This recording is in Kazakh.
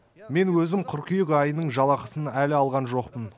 мен өзім қыркүйек айының жалақысын әлі алған жоқпын